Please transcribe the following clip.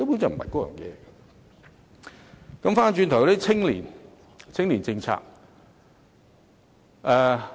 再談談青年政策。